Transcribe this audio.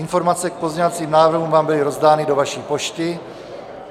Informace k pozměňovacím návrhům vám byly rozdány do vaší pošty.